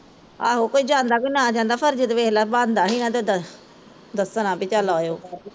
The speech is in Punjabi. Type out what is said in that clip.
ਆਹੋ ਕੋਈ ਜਾਂਦਾ ਕਿ ਨਾ ਜਾਂਦਾ ਫਰਜ਼ ਤਾਂ ਵੇਖਲਾ ਬਣਦਾ ਸੀ ਨਾ ਓਦਾ ਦੱਸਣਾ ਵੀ ਚੱਲ ਆਈਓ